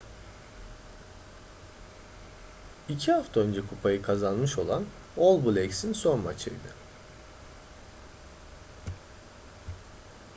i̇ki hafta önce kupayı kazanmış olan all blacks’in son maçıydı